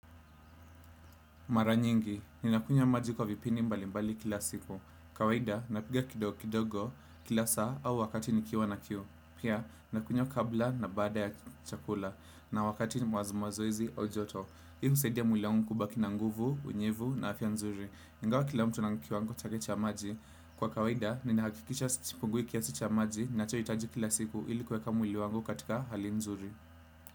Mara nyingi, ninakunywa maji kwa vipindi mbali mbali kila siku. Kawaida, napiga kidogo kidogo kila saa au wakati nikiwa na kiu. Pia, nakunywa kabla na baada ya chakula na wakati wa mazoezi au joto. Hii usaidia mwili wangu kubaki na nguvu, unyevu na afya nzuri. Ingawa kila mtu ana kiwango chake cha maji. Kwa kawaida, ninahakikisha sipungui kiasi cha maji nachohitaji kila siku ili kuweka mwili wangu katika hali nzuri.